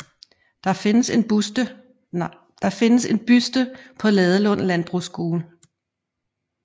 Der findes en buste på Ladelund Landbrugsskole